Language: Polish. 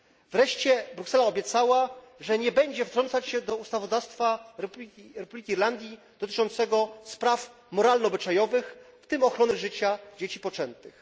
Wreszcie Bruksela obiecała, że nie będzie wtrącać się do ustawodawstwa Republiki Irlandii dotyczącego spraw moralno obyczajowych, w tym ochrony życia dzieci poczętych.